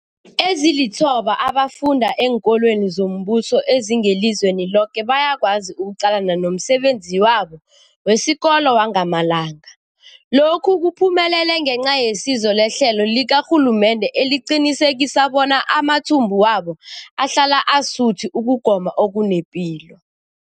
Ezilithoba abafunda eenkolweni zombuso ezingelizweni loke bayakwazi ukuqalana nomsebenzi wabo wesikolo wangamalanga. Lokhu kuphumelele ngenca yesizo lehlelo likarhulumende eliqinisekisa bona amathumbu wabo ahlala asuthi ukugoma okunepilo.